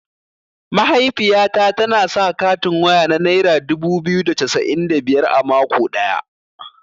Mahaifiyata tana sa katin waya na naira dubu biyu da cassa'in da biyar a mako ɗaya.